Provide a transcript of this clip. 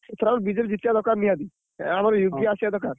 ଏଥରକ BJD ଜିତିବା ଦରକାର ନିହାତି। ଏ ଆମ ଆସିବ ଦରକାର।